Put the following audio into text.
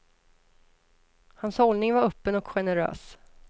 Hans hållning var öppen och generös.